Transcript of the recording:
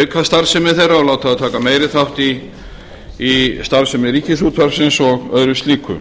auka starfsemi þeirra og láta þær taka meiri þátt í starfsemi ríkisútvarpsins og öðru slíku